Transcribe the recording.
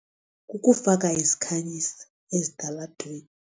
Kukufaka izikhanyisi ezitalatweni.